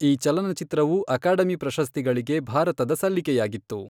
ಈ ಚಲನಚಿತ್ರವು ಅಕಾಡೆಮಿ ಪ್ರಶಸ್ತಿಗಳಿಗೆ ಭಾರತದ ಸಲ್ಲಿಕೆಯಾಗಿತ್ತು.